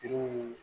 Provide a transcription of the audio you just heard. Denw